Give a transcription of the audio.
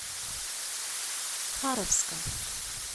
харовска